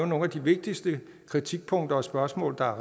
nogle af de vigtigste kritikpunkter og spørgsmål der er